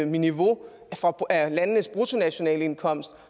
niveau af landenes bruttonationalindkomst